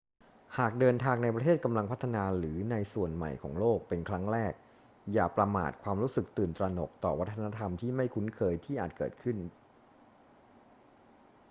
หากเดินทางในประเทศกำลังพัฒนาหรือในส่วนใหม่ของโลกเป็นครั้งแรก อย่าประมาทความรู้สึกตื่นตระหนกต่อวัฒนธรรมที่ไม่คุ้นเคยที่อาจเกิดขึ้น